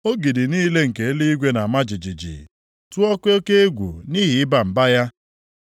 Ogidi niile nke eluigwe na-ama jijiji, tụọkwa oke egwu nʼihi ịba mba ya.